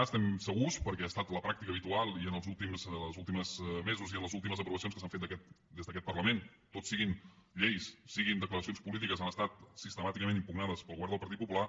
n’estem segurs perquè ha estat la pràctica habitual i en els últims mesos i en les últimes aprovacions que s’han fet des d’aquest parlament totes siguin lleis siguin declaracions polítiques han estat sistemàticament impugnades pel govern del partit popular